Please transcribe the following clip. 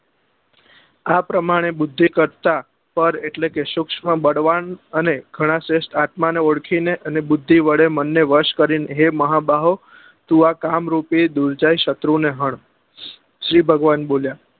આ પ્રમાણે બુદ્ધિ કરતા પર એટલે કે સુક્ષ્મ બળવાન અને ગણા શ્રેષ્ઠ આત્મા ને ઓળખી ને અને બુદ્ધિ વડે મન ને વશ કરી ને હે મહાબાહો તું આ કામ રૂપી દુર્જાઈ શત્રુ ને હણ શિવ ભગવાન બોલ્યા